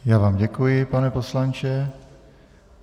Já vám děkuji, pane poslanče.